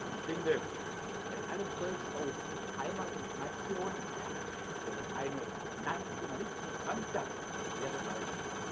Ich finde bei allem Stolz auf Heimat und Nation eine nationalistische Zwangsjacke wäre falsch.